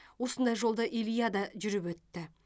осындай жолды илья да жүріп өтті